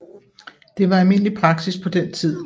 Det var almindelig praksis på den tid